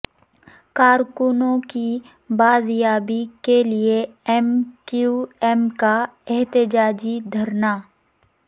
کارکنوں کی بازیابی کےلیے ایم کیو ایم کا احتجاجی دھرنا